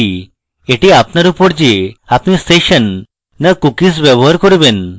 এটি আপনার উপর যে আপনি সেশন so cookies ব্যবহার করবেন